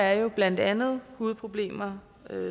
er blandt andet hudproblemer